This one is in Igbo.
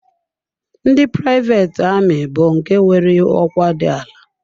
Ndị privet ami bụ nke nwere ọkwa dị ala.